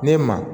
Ne ma